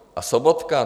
A Sobotka?